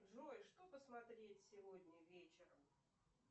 джой что посмотреть сегодня вечером